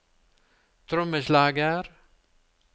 trommeslager